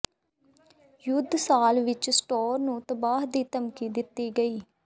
ਯੁੱਧ ਸਾਲ ਵਿੱਚ ਸਟੋਰ ਨੂੰ ਤਬਾਹ ਦੀ ਧਮਕੀ ਦਿੱਤੀ ਗਈ